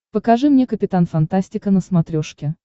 покажи мне капитан фантастика на смотрешке